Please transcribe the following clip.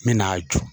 N bɛ n'a jɔ